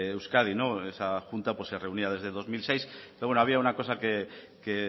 euskadi esa junta se reunía desde dos mil seis pero bueno había una cosa que